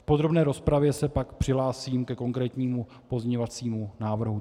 V podrobné rozpravě se pak přihlásím ke konkrétnímu pozměňovacímu návrhu.